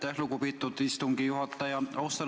Aitäh, lugupeetud istungi juhataja!